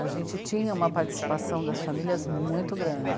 A gente tinha uma participação das famílias muito grande.